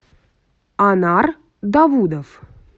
анар давудов